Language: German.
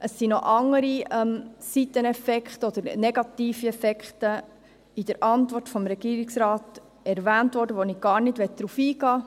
Es wurden noch andere Seiteneffekte oder negative Effekte in der Antwort des Regierungsrates erwähnt, auf die ich gar nicht eingehen will.